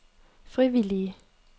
frivillige